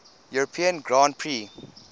european grand prix